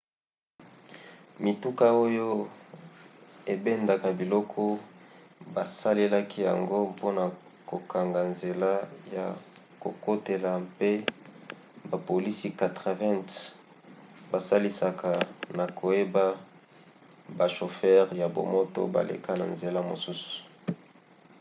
mituka oyo ebendaka biloko basalelaki yango mpona kokanga nzela ya kokotela mpe bapolisi 80 basalisaka na koyeba bashofere ya bamoto baleka na nzela mosusu